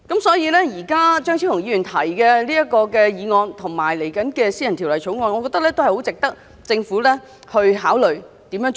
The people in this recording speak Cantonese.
所以，張超雄議員今天提出的議案，以及將會提出的私人條例草案，我認為很值得政府思考應該怎樣做。